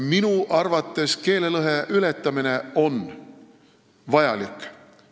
Minu arvates keelelõhe ületamine on vajalik.